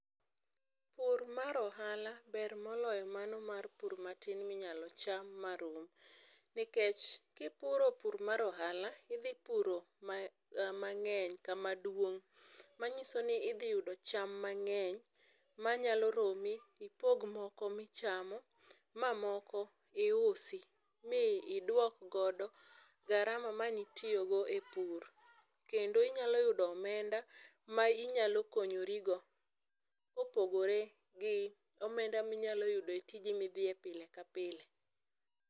Pur mar ohala ber moloyo mano mar pur matin minyalo cham marum nikech kipuro pur mar ohala idhi mangeny kama duong manyisoni idhi yudo cham mangeny manyalo romi ipog moko michamo mamoko iusi miduok godo garama mane itiyo go e pur, kendo inyalo yudo omenda ma ikonyori go kopogore gi omenda minyalo yudo e tiji ma pile ka pile